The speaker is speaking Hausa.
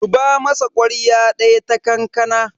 zuba masa kwarya daya ta kankana